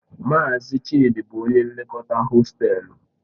Mazi Chidi bu onye nlekọta hostelu..